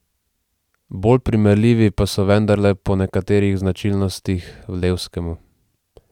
Bolj primerljivi pa so vendarle po nekaterih značilnostih Levskemu.